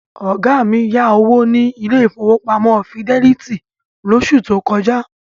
Ọ̀gá mi yá owó ní ilé ìfowópamọ́ Fidelity lóṣù tó kọjá.